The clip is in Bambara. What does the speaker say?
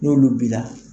N'olu b'i la